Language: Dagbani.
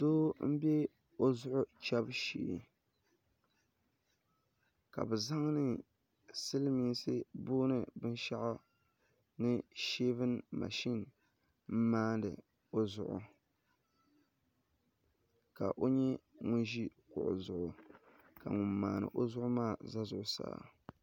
Doo n bɛ o zuɣu chɛbu shee ka bi zaŋdi silmiinsi boondi binshaɣu sheevin mashin n maandi o zuɣu ka o nyɛ ŋun ʒi kuɣu zuɣu ka ŋun maandi o zuɣu maa ʒɛ zuɣusaa